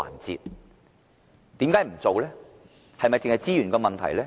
是否單是資源的問題呢？